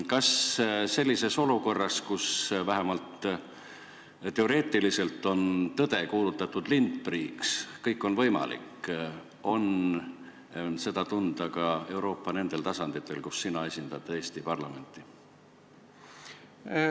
Kas sellises olukorras, kus vähemalt teoreetiliselt on tõde kuulutatud lindpiiriks ja kõik on võimalik, on seda tunda ka Euroopa nendel tasanditel, kus sina esindad Eesti parlamenti?